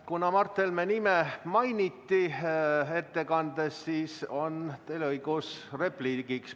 Kuna Mart Helme nime mainiti ettekandes, siis on teil õigus repliigiks.